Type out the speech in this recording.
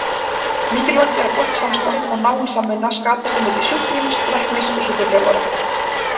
Mikilvægt er að gott samstarf og náin samvinna skapist á milli sjúklings, læknis og sjúkraþjálfara.